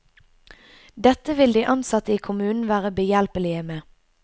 Dette vil de ansatte i kommunen være behjelpelige med.